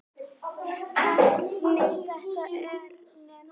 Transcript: Efni þetta er nefnt slátur.